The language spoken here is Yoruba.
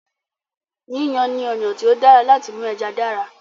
Yíyan ni ọ̀nà tí ó dára láti mú ẹja dára.